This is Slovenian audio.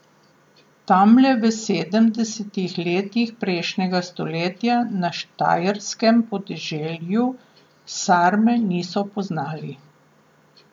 Tamle v sedemdesetih letih prejšnjega stoletja na štajerskem podeželju sarme niso poznali.